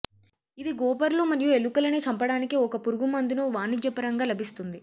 ఇది గోపర్లు మరియు ఎలుకలని చంపడానికి ఒక పురుగుమందును వాణిజ్యపరంగా లభిస్తుంది